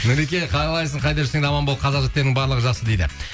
нұреке қалайсың қайда жүрсең де аман бол қазақ жігіттерінің барлығы жақсы дейді